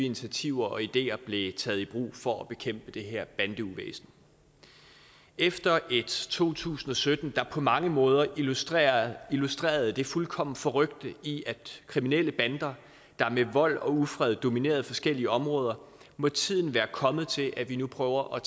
initiativer og ideer blev taget i brug for at bekæmpe det her bandeuvæsen efter et to tusind og sytten der på mange måder illustrerede illustrerede det fuldkommen forrykte i at kriminelle bander med vold og ufred dominerede forskellige områder må tiden være kommet til at vi nu prøver at